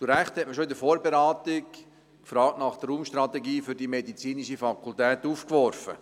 Zu Recht hat man schon in der Vorberatung die Frage nach der Raumstrategie für die medizinische Fakultät aufgeworfen.